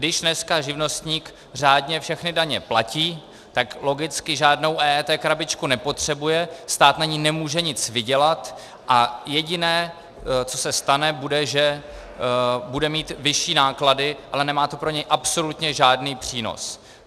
Když dnes živnostník řádně všechny daně platí, tak logicky žádnou EET krabičku nepotřebuje, stát na ní nemůže nic vydělat a jediné, co se stane, bude, že bude mít vyšší náklady, ale nemá to pro něj absolutně žádný přínos.